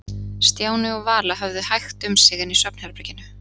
Stjáni og Vala höfðu hægt um sig inni í svefnherberginu.